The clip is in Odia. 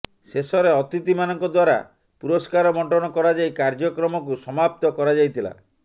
ଶେଷରେ ଅତିଥି ମାନଙ୍କ ଦ୍ୱାରା ପୁରସ୍କାର ବଣ୍ଟନ କରାଯାଇ କାର୍ଯ୍ୟକ୍ରମକୁ ସମାପ୍ତ କରାଯାଇଥିଲା